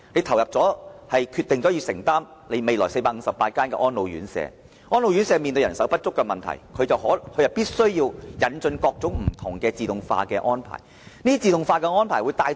例如，政府決定投入資源興建458間安老院舍，而安老院舍面對人手不足的問題，定會引進各種自動化設施。